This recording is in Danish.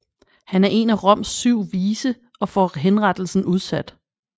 Han er en af Roms syv vise og får henrettelsen udsat